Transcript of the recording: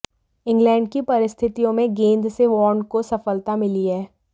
England की परिस्थितियों में गेंद से वार्न को सफलता मिली है